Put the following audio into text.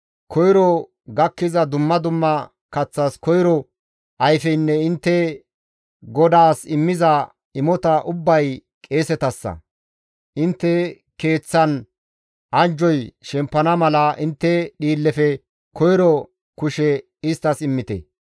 Koyro gakkiza dumma dumma kaththas koyro ayfeynne intte GODAAS immiza imota ubbay qeesetassa. Intte keeththan anjjoy shempana mala, intte dhiillefe koyro kushe isttas immite.